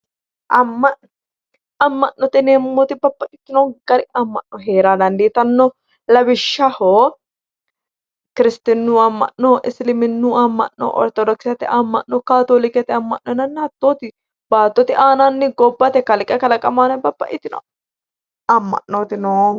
Amma'note yineemmoti babbaxxitino gari amma'no heera dandiitanno lawishshaho kiristinnu Amma'no isiliminnu amma'no ortodokisete amma'no kaatoolikete amma'no yinanna baattote aanaanni gobnate kalqete kalaqamu aana babbaxxitino amma'nooti noohu